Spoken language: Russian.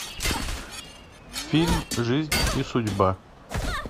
фильм жизнь и судьба